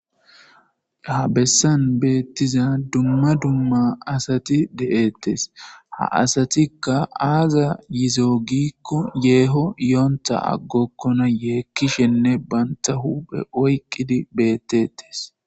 Ha besani betiza dumma dumma asati detees ha asatikka azas yizo gikko yeho yonita aggokona yekishshenne banita hupheni oyikidi betetees